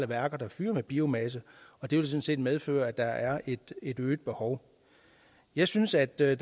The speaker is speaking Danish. værker der fyrer med biomasse og det vil sådan set medføre at der er et øget behov jeg synes at der er